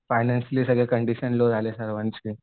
Financially condition low झालेली आहे सर्वांची.